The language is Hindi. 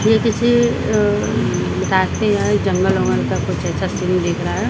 यह किसी राशिएल जंगल बंगल का कुछ ऐसा सीन दिख रहा है ।